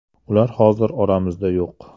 Ular hozir oramizda yo‘q.